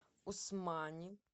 усмани